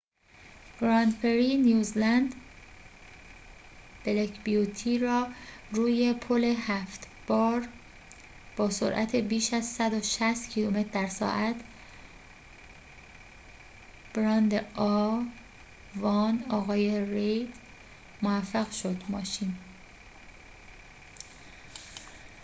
آقای رید موفق شد ماشین a۱ گراندپری نیوزلند بلک بیوتی را روی پل هفت بار با سرعت بیش از ۱۶۰ کیلومتر در ساعت براند